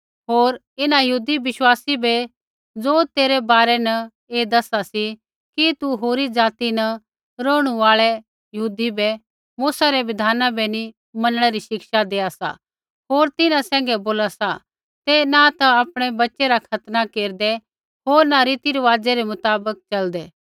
होर इन्हां यहूदी बिश्वासी बै ज़ो तेरै बारै न ऐ दसा सी कि तू होरी ज़ाति न रौहणु आल़ै यहूदी बै मूसै रै बिधाना बै नी मनणै री शिक्षा देआ सा होर तिन्हां सैंघै बोला सा तै न ता आपणै बच्च़ै रा खतना केरदै होर न रीतिरिवाज़ै रै मुताबक च़लदै